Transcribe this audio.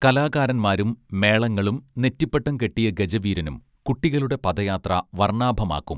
കലാകാരന്മാരും മേളങ്ങളും നെറ്റിപ്പട്ടം കെട്ടിയ ഗജവീരനും കുട്ടികളുടെ പദയാത്ര വർണാഭമാക്കും